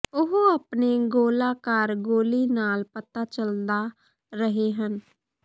ਉਹ ਆਪਣੇ ਗੋਲਾਕਾਰ ਗੋਲੀ ਨਾਲ ਪਤਾ ਚੱਲਦਾ ਰਹੇ ਹਨ